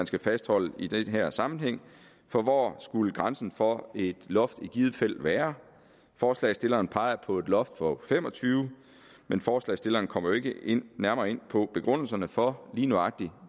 skal fastholde i den her sammenhæng for hvor skulle grænsen for et loft i givet fald være forslagsstillerne peger på et loft på fem og tyve men forslagsstillerne kommer jo ikke nærmere ind på begrundelserne for lige nøjagtig